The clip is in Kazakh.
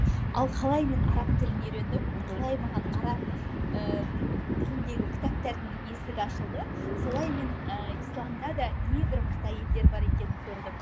ал қалай мен араб тілін үйрендім қалай маған араб ііі тіліндегі кітаптардың есігі ашылды солай мен ііі исламда да небір мықты әйелдер бар екенін көрдім